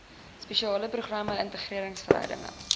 spesiale programme interregeringsverhoudinge